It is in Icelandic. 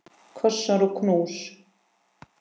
Kossar og knús.